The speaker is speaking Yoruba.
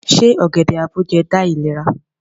Se ogede-aboje da ilera?